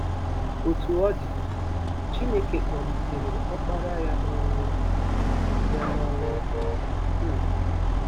Otú ọ dị, Chineke kpọlitere Ọkpara ya n’ọnwụ. ya n’ọnwụ. um